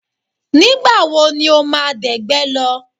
Nígbà wo ni o máa dẹ̀gbẹ́ lọ?